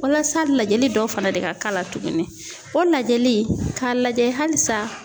Walasa lajɛli dɔw fana de ka k'a la tuguni o lajɛli k'a lajɛ halisa